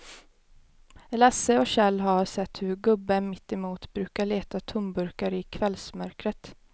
Lasse och Kjell har sett hur gubben mittemot brukar leta tomburkar i kvällsmörkret.